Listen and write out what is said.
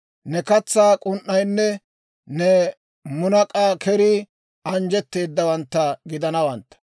Ne katsaa k'un"aynne ne munak'a kerii anjjetteedawantta gidanawaa.